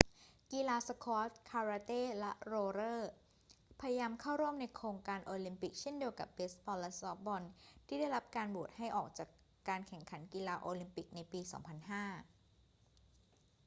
กีฬาสควอช คาราเต้ และโรลเลอร์ พยายามเข้าร่วมในโครงการโอลิมปิกเช่นเดียวกับเบสบอลและซอฟต์บอลที่ได้รับการโหวตให้ออกจากการแข่งขันกีฬาโอลิมปิกในปี 2005